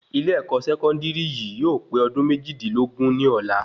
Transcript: Ilé-èkó sẹkọndiri yìí yóò pé ọdún méjìdínlógún ní ọ̀la